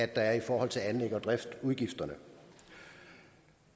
der er i forhold til anlægs og driftsudgifterne